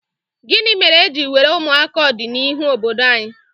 Gịnị mere e ji were ụmụaka ọdịnihu obodo anyị?